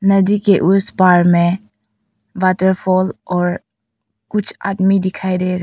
नदी के उस पार में वॉटरफॉल और कुछ आदमी दिखाई दे रहा--